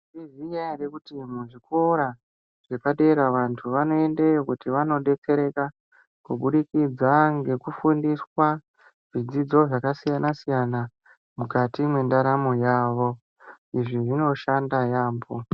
Tinoziya ere kuti muzvikora zvepadera vanthu vanoendeo kut vanodetsereka kubudikidza ngekufumdiswa zvidzidzo zvakasiyana siyana mukati mwendaramo yavo izvi zvinoshanda yaambo.